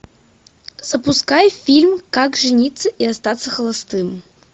запускай фильм как жениться и остаться холостым